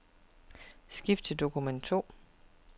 Skift til dokument to.